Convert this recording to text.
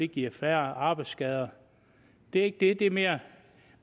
giver færre arbejdsskader det er ikke det det er mere